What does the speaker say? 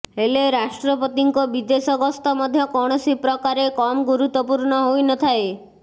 ହେଲେ ରାଷ୍ଟ୍ରପତିଙ୍କ ବିଦେଶ ଗସ୍ତ ମଧ୍ୟ କୌଣସି ପ୍ରକାରେ କମ୍ ଗୁରୁତ୍ୱପୂର୍ଣ୍ଣ ହୋଇନଥାଏ